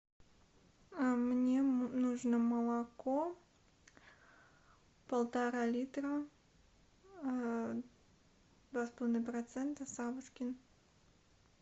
мне нужно молоко полтора литра два с половиной процента савушкин